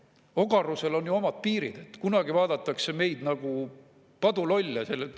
Ogarusel on ju omad piirid, kunagi vaadatakse meid nagu padulolle.